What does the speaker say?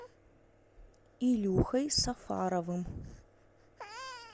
илюхой сафаровым